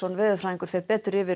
veðurfræðingur fer betur yfir